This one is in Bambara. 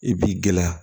I b'i gɛlɛya